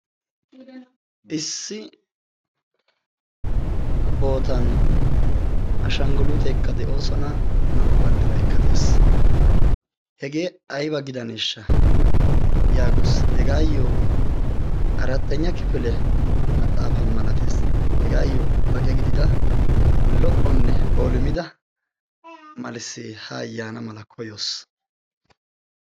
issi bootan ashangguluuteekka de'oosona. naa'u banddiraikka de'es. hegee aiba gidaneeshsha' yaagoos hegaayyo 'arattenya kifile maxaafa malatees hegaayyo baqe gidida lo'onne bolimida malissee ha ayyaana mala koyoos?